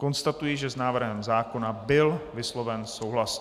Konstatuji, že s návrhem zákona byl vysloven souhlas.